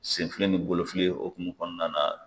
Senfili ni bolofili hokumu kɔnɔna na.